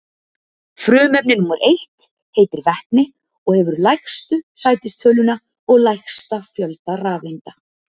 frumefni númer einn heitir vetni og hefur lægstu sætistöluna og lægsta fjölda rafeinda